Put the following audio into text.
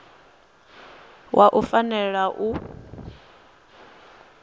wa wua u fanela u